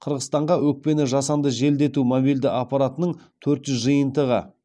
қырғызстанға өкпені жасанды желдету мобильді аппараттарының төрт жүз жиынтығы